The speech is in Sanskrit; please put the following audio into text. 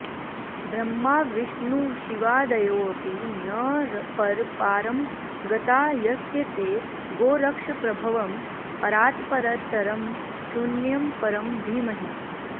ब्रह्माविष्णुशिवादयोऽपि न पर पारं गता यस्य ते गोरक्षप्रभवं परात्परतरं शून्यं परं धीमहि